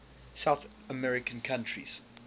south american countries